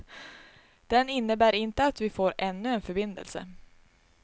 Den innebär inte att vi får ännu en förbindelse.